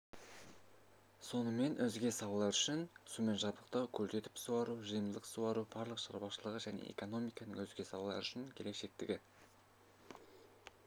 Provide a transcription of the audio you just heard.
сонымен өзге салалар үшін сумен жабдықтау көлдетіп суару жайылымдық суару балық шаруашылығы және экономиканың өзге салалары үшін келешектегі